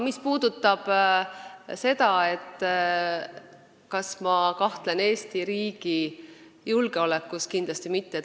Mis puudutab aga seda, kas ma kahtlen Eesti riigi julgeolekus, siis kindlasti mitte.